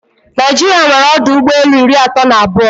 Naijiria nwere ọdụ ụgbọelu iri atọ na abụọ.